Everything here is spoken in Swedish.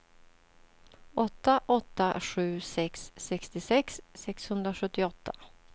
åtta åtta sju sex sextiosex sexhundrasjuttioåtta